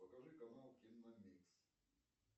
покажи канал киномикс